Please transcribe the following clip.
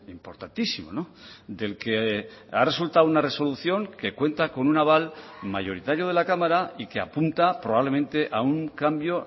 importantísimo del que ha resultado una resolución que cuenta con un aval mayoritario de la cámara y que apunta probablemente a un cambio